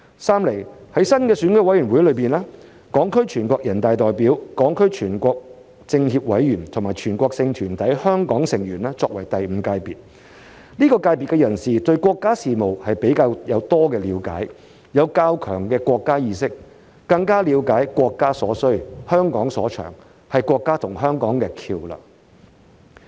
三，在新的選委會中，港區全國人大代表、港區全國政協委員和全國性團體香港成員作為第五界別，這個界別的人士對國家事務有比較多的了解，有較強的國家意識，更了解國家所需、香港所長，是國家和香港的橋樑。